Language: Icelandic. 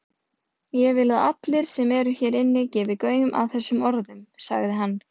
Ég vil að allir sem eru hér inni, gefi gaum að þessum orðum,-sagði hann.